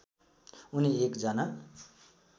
उनी एक जना